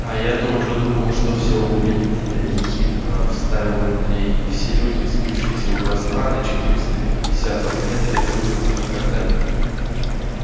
а я-то уже думал что всё убили тебя ехидно вставил андрей и все люди сбившиеся у костра на четыреста пятидесятом метре дружно захохотали